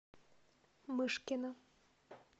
мышкина